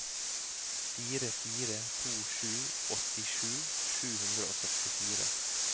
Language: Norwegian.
fire fire to sju åttisju sju hundre og førtifire